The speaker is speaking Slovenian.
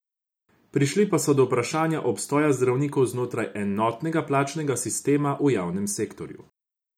Prišli pa so do vprašanja obstoja zdravnikov znotraj enotnega plačnega sistema v javnem sektorju.